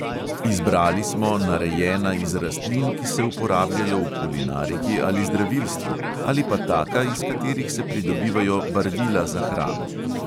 Izbrali smo narejena iz rastlin, ki se uporabljajo v kulinariki ali zdravilstvu, ali pa taka, iz katerih se pridobivajo barvila za hrano.